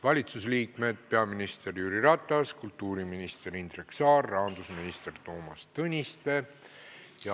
Valitsusliikmed: peaminister Jüri Ratas, kultuuriminister Indrek Saar, rahandusminister Toomas Tõniste.